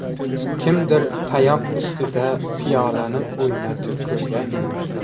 Kimdir tayoq ustida piyolani o‘ynatib ko‘rganmi?